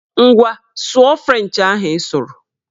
Ngwa, sụọ frenchị ahụ ị sụrụ!